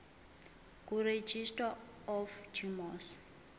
kuregistrar of gmos